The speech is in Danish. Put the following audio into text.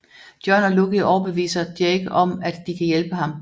John og Lucky overbeviser Jake om at de kan hjælpe ham